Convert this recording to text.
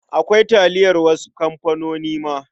Akwai taliyar wasu kamfanonin ma.